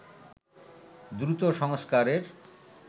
দ্রুত সংস্কারের